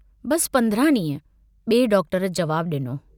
बस पंद्रह डींह बिऐ डॉक्टर जवाबु डिनो। बस पंद्रह डींह बिऐ डॉक्टर जवाबु डिनो।